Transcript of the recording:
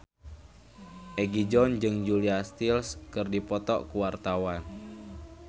Egi John jeung Julia Stiles keur dipoto ku wartawan